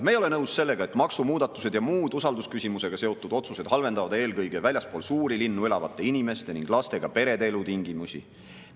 Me ei ole nõus sellega, et maksumuudatused ja muud usaldusküsimusega seotud otsused halvendavad eelkõige väljaspool suuri linnu elavate inimeste ning lastega perede elutingimusi.